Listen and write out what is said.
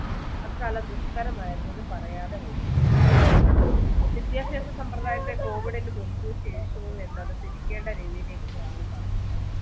അക്കാലം ദുഷ്ക്കരമായിരുന്നുവെന്ന് പറയാതെ വയ്യ വിദ്യാഭ്യാസ സമ്പ്രദായത്തെ COVID ന് മുൻപ് ശേഷവും എന്നത് തിരിക്കേണ്ട രീതിയിലേക്ക് മാറി കാര്യം